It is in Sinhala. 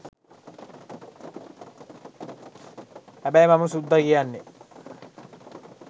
හැබැයි මම සුද්ද කියන්නේ